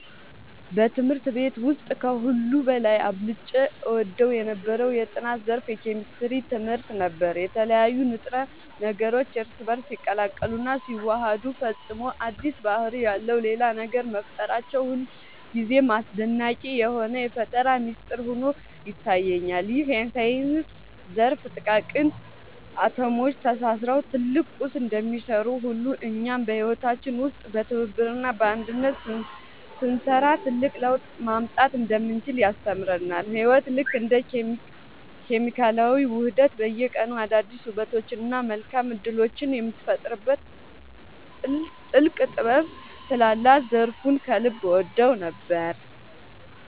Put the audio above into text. በትምህርት ቤት ውስጥ ከሁሉ በላይ አብልጬ እወደው የነበረው የጥናት ዘርፍ የኬሚስትሪ ትምህርት ነበር። የተለያዩ ንጥረ ነገሮች እርስ በእርስ ሲቀላቀሉና ሲዋሃዱ ፈጽሞ አዲስ ባህሪ ያለው ሌላ ነገር መፍጠራቸው ሁልጊዜም አስደናቂ የሆነ የፈጠራ ሚስጥር ሆኖ ይታየኛል። ይህ የሳይንስ ዘርፍ ጥቃቅን አቶሞች ተሳስረው ትልቅ ቁስ እንደሚሰሩ ሁሉ፣ እኛም በህይወታችን ውስጥ በትብብርና በአንድነት ስንሰራ ትልቅ ለውጥ ማምጣት እንደምንችል ያስተምረናል። ህይወት ልክ እንደ ኬሚካላዊ ውህደት በየቀኑ አዳዲስ ውበቶችንና መልካም እድሎችን የምትፈጥርበት ጥልቅ ጥበብ ስላላት ዘርፉን ከልብ እወደው ነበር።